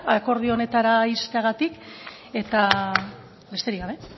akordio honetara iristeagatik eta besterik gabe